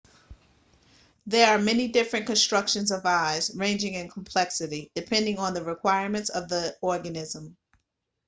there are many different constructions of eyes ranging in complexity depending on the requirements of the organism